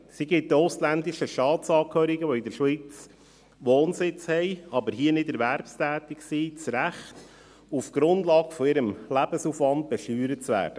Sie gibt den ausländischen Staatsangehörigen, die in der Schweiz Wohnsitz haben, aber hier nicht erwerbstätig sind, das Recht, auf der Grundlage ihres Lebensaufwands besteuert zu werden.